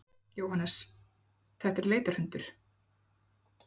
Jóhannes: Þetta er leitarhundur?